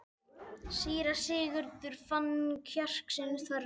Síra Sigurður fann kjark sinn þverra.